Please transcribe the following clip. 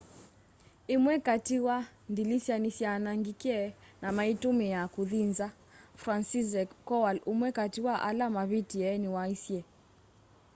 ĩmwe katĩ wa ndĩlĩsya nĩsyaanangĩkĩe na maĩtũmĩa kũthĩ nza franciszek kowal ũmwe katĩ wa ala mavĩtĩe nĩwaisye